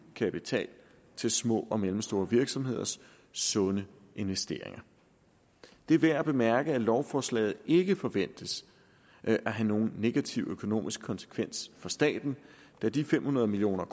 kapital til små og mellemstore virksomheders sunde investeringer det er værd at bemærke at lovforslaget ikke forventes at have nogen negativ økonomisk konsekvens for staten da de fem hundrede million